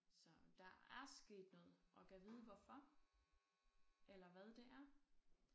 Så der er sket noget og gad vide hvorfor eller hvad det er